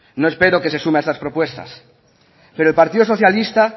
no espero que se sume a estas propuestas pero el partido socialista